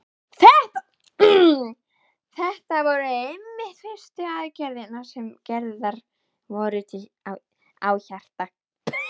Þetta voru einmitt fyrstu aðgerðirnar sem gerðar voru á hjarta.